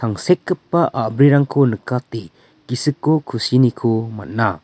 tangsekgipa a·brirangko nikate gisiko kusiniko man·a.